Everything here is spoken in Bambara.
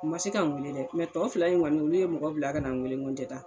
U ma se ka n wele dɛ . tɔ fila in kɔni olu ye mɔgɔ bila ka na n wele , n ko n te taa .